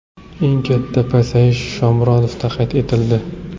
Eng katta pasayish Shomurodovda qayd etildi.